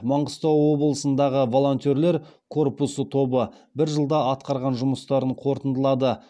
маңғыстау облысындағы волонтерлер корпусы тобы бір жылда атқарған жұмыстарын қорытындылады